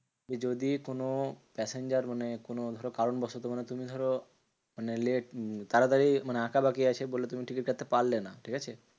যে যদি কোনো passenger মানে কোনো ধরো কারণ বশত তুমি ধরো মানে late তাড়াতাড়ি মানে আকাবাকি আছে বলে তুমি টিকিট কাটতে পারলে না, ঠিকাছে?